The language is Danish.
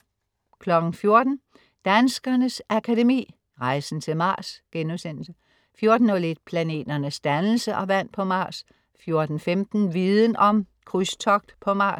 14.00 Danskernes Akademi. Rejsen til Mars* 14.01 Planeternes dannelse og vand på Mars* 14.15 Viden Om: Krydstogt på Mars*